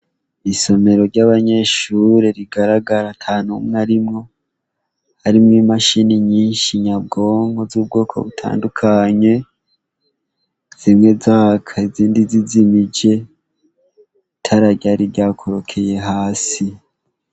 Isomero ryabanyeshure rigaragara ntanumwe arimwo harimwo imachine nyinshi nyabwonko zubwoko bitandukanye zimwe zaka izindi zizimije itara ryar ryakorokeye hasi